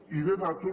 i de dades